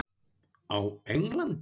Á Englandi?